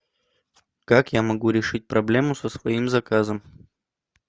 как я могу решить проблему со своим заказом